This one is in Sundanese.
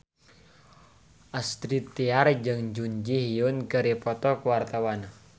Astrid Tiar jeung Jun Ji Hyun keur dipoto ku wartawan